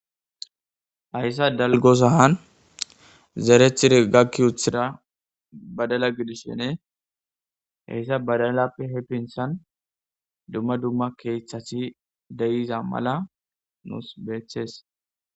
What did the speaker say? hayssa dalgosahan zerethire gakki uthira badala gidis shene heyssa badalappe hepintshan dumma dumma keeththasi deyiza mala nuus beethees